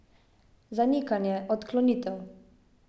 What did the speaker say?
Zanikanje, odklonitev.